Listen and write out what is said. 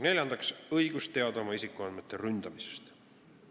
Neljandaks, õigus teada saada oma isikuandmete ründamisest.